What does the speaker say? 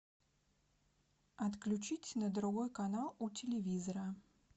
отключить на другой канал у телевизора